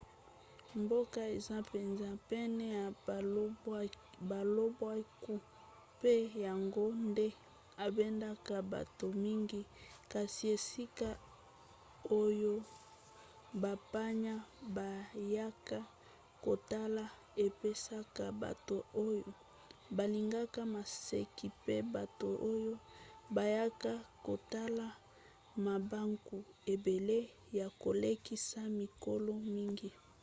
mboka eza mpenza pene ya balobwaku mpe yango nde ebendaka bato mingi kasi esika oyo bapaya bayaka kotala epesaka bato oyo balingaka maseki pe bato oyo bayaka kotala mabaku ebele ya kolekisa mikolo mingi